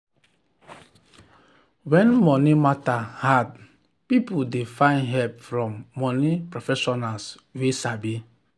when money matter hard people dey find help from money professionals wey sabi.